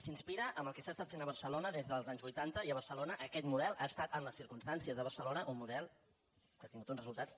s’inspira en el que s’ha estat fent a barcelona des dels anys vuitanta i a barcelona aquest model ha estat en les circumstàncies de barcelona un model que ha tingut uns resultats